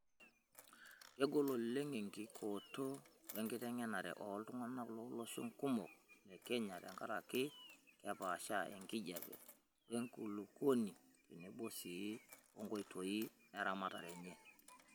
Kegol oleng' enkikooto wenkitengenare ooltung'ana too loshon kumok le Kenya, tenkaraki kepaasha enkijiape wenkulukuoni tenebo sii onkoitoi eramatare enye.